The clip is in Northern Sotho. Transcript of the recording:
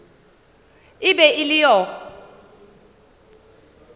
e be e le yo